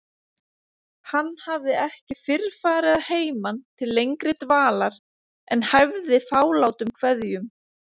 Hann hafði ekki fyrr farið að heiman til lengri dvalar en hæfði fálátum kveðjum.